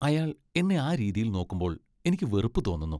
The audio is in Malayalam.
അയാൾ എന്നെ ആ രീതിയിൽ നോക്കുമ്പോൾ എനിക്ക് വെറുപ്പ് തോന്നുന്നു.